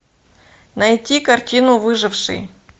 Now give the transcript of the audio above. найти картину выживший